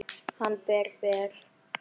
Hann er ber, ber.